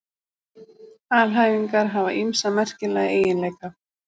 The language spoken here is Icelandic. Alhæfingar hafa ýmsa merkilega eiginleika.